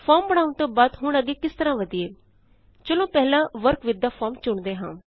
form ਬਣਾਉਣ ਤੋਂ ਬਾਅਦ ਹੁਣ ਅੱਗੇ ਕਿਸ ਤਰਹ ਵਧਿਏ ਚਲੋ ਪਹਿਲਾਂ ਵਰਕ ਵਿਥ ਥੇ ਫਾਰਮ ਚੁਣਦੇ ਹਾਂ